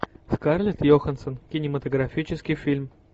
скарлетт йоханссон кинематографический фильм